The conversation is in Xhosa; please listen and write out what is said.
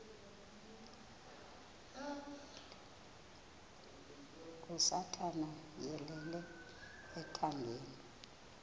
kasathana yeyele ethangeni